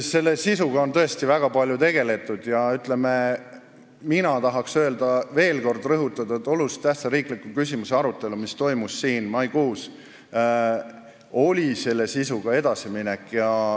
Selle sisuga on tõesti väga palju tegeletud ja ma tahan veel kord rõhutada, et olulise tähtsusega riikliku küsimuse arutelu, mis toimus siin maikuus, oli sisu osas edasiminek.